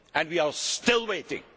to do that. We are still